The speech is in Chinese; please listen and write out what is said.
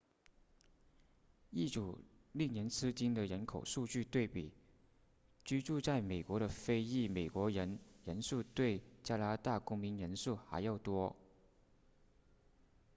一组令人吃惊的人口数据对比居住在美国的非裔美国人人数比加拿大公民人数还要多